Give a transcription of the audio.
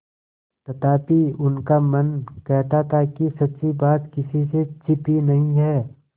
तथापि उनका मन कहता था कि सच्ची बात किसी से छिपी नहीं है